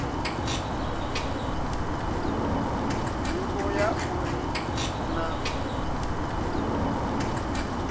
nḓivho ya uri hu na